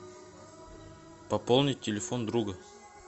пополнить телефон друга